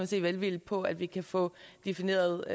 se velvilligt på at vi kan få defineret